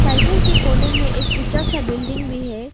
Cycle के कोने में एक ऊंचा सा बिल्डिंग भी है।